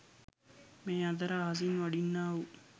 මේ අතර අහසින් වඩින්නාවූ